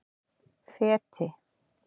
Feti